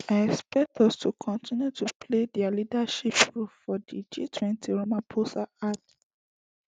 i expect us to continue to play dia leadership role for di gtwenty ramaphosa add